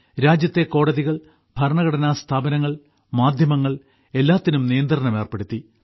രാജ്യത്തെ കോടതികൾ ഭരണഘടനാ സ്ഥാപനങ്ങൾ മാധ്യമങ്ങൾ എല്ലാത്തിനും നിയന്ത്രണം ഏർപ്പെടുത്തി